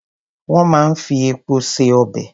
Wón máa ń fi epo se ọbè.